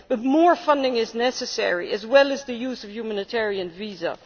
But more funding is necessary, as well as the use of a humanitarian visa.